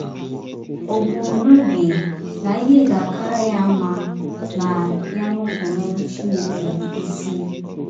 Ò bu n’obi na ihe ga - akara ya mma ma ya nupụrụ Chineke isi?